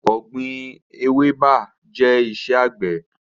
Ọ̀gbín ewébẹ̀ jẹ iṣẹ́ àgbẹ̀